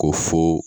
Ko fo